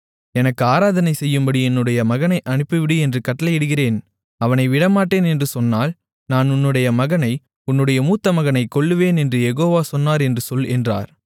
எனக்கு ஆராதனை செய்யும்படி என்னுடைய மகனை அனுப்பிவிடு என்று கட்டளையிடுகிறேன் அவனை விடமாட்டேன் என்று சொன்னால் நான் உன்னுடைய மகனை உன்னுடைய மூத்தமகனை கொல்லுவேன் என்று யெகோவா சொன்னார் என்று சொல் என்றார்